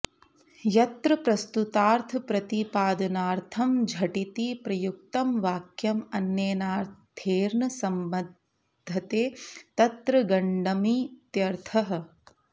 यत्र प्रस्तुतार्थप्रतिपादनार्थं झटिति प्रयुक्तं वाक्यम् अन्येनाथेर्न सम्बध्यते तत्र गण्डमित्यर्थः